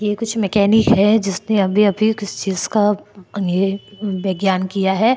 ये कुछ मेकॅनिक है जिसने अभी अभी किसी चीज का ये विज्ञानं किया है।